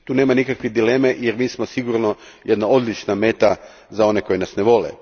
Tu nema nikakve dileme jer mi smo sigurno jedna odlična meta za one koji nas ne vole.